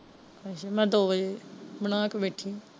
ਅੱਛਾ ਮੈਂ ਦੋ ਵੱਜੇ ਬਣਾ ਕੇ ਬੈਠੀ ਹਾਂ।